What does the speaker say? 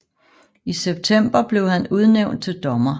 I september blev han udnævnt til dommer